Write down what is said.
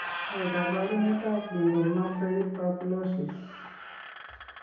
Ne kaabarunetap lymphomatoid papulosis?